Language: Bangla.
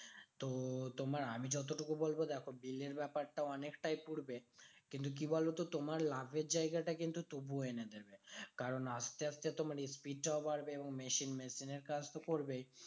তো তোমার আমি যতটুকু বলবো দেখো bill এর ব্যাপারটাও অনেকটা পুড়বে। কিন্তু কি বলতো? তোমার লাভের জায়গাটা কিন্তু তবুও এনে দেবে। কারণ আসতে আসতে তোমার speed টাও বাড়বে। এবং machine machine এর কাজ তো করবেই।